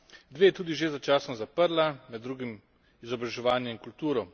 Dve je tudi že začasno zaprla, med drugim izobraževanje in kulturo.